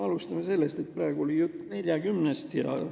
Alustame sellest, et praegu oli jutt 40 inimesest aastas.